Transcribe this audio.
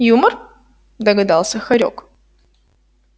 юмор догадался хорёк